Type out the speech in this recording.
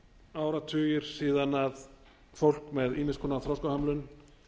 áratugir síðan fólk með ýmiss konar þroskahömlun